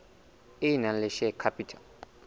e nang le share capital